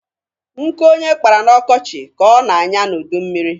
Nkụ onye kpara n'ọkọchị ka ọ na-anya n'udummiri.